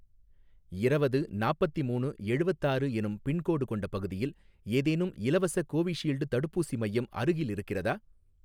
இரவது நாப்பத்திமூணு எழுவத்தாறு எனும் பின்கோடு கொண்ட பகுதியில் ஏதேனும் இலவச கோவிஷீல்டு தடுப்பூசி மையம் அருகில் இருக்கிறதா?